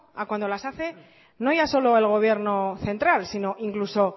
a cuando las hace no ya solo el gobierno central sino incluso